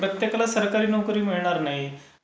प्रत्येकाला सरकारी नोकरी मिळणार नाही.